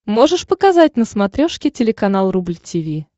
можешь показать на смотрешке телеканал рубль ти ви